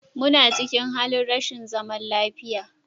Muna cikin halin rashin zaman lafiya